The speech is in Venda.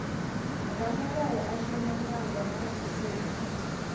ramulayo a shumanaho na zwisikwa